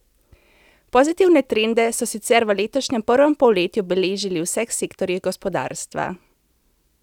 Pozitivne trende so sicer v letošnjem prvem polletju beležili v vseh sektorjih gospodarstva.